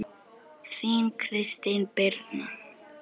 Þín, Kristín Birna.